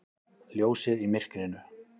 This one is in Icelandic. Ljósið í myrkrinu!